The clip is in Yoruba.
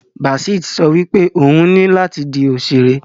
Basit so wipe oun ni lati di òṣèré.